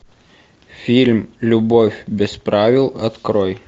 фильм любовь без правил открой